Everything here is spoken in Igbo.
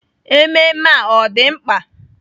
Ememme a ọ̀ dị mkpa?